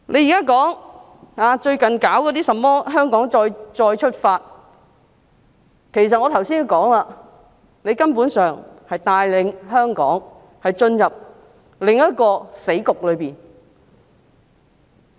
政府最近搞甚麼"香港再出發"，其實正如我剛才所說，根本是帶領香港進入另一個死局。